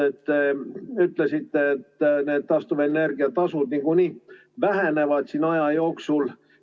Te ütlesite, et taastuvenergia tasud niikuinii vähenevad aja jooksul.